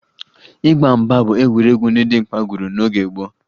Ịgba mgba bụ egwuregwu ndị dimkpa gwuru n'oge gboo